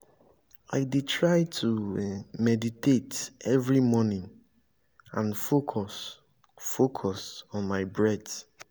i dey try to meditate every morning and focus focus on my breath.